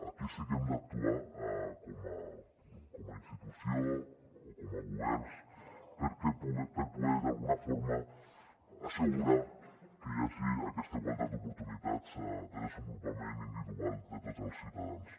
aquí sí que hem d’actuar com a institució o com a governs per poder d’alguna forma assegurar que hi hagi aquesta igualtat d’oportunitats de desenvolupament individual de tots els ciutadans